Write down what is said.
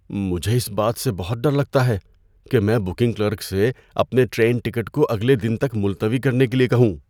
مجھے اس بات سے بہت ڈر لگتا ہے کہ میں بکنگ کلرک سے اپنے ٹرین ٹکٹ کو اگلے دن تک ملتوی کرنے کے لیے کہوں۔